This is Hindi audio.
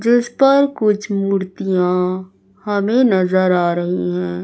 जिस पर कुछ मूर्तियां हमें नजर आ रही है।